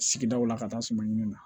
Sigidaw la ka taa suma ɲini na